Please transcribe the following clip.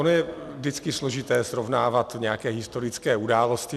Ono je vždycky složité srovnávat nějaké historické události.